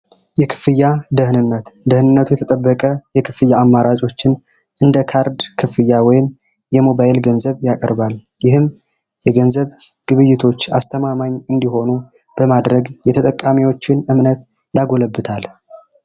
የክፍያ ደህንነት ደህንነቱ የተጠበቀ የክፍያ አማራጮችን እንደ ካርድ ክፍያ ወይም የሞባይል ገንዘብ ያቀርባል ይህም የገንዘብ ግብይቶች አስተማማኝ እንዲሆኑ በማድረግ የተጠቃሚዎችን እምነት ያጎለብታል።